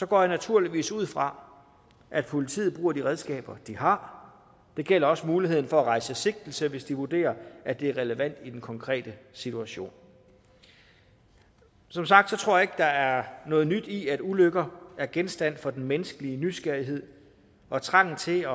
går jeg naturligvis ud fra at politiet bruger de redskaber de har det gælder også muligheden for at rejse sigtelse hvis de vurderer at det er relevant i den konkrete situation som sagt tror jeg ikke at der er noget nyt i at ulykker er genstand for den menneskelige nysgerrighed og trangen til